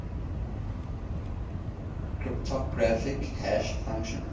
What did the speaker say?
cryptographic hash function